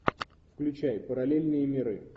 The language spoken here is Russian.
включай параллельные миры